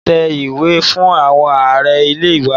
Mo máa ta ewúrẹ́ fún àwọn araá-ilé wa.